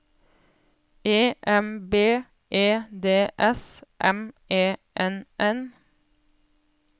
E M B E D S M E N N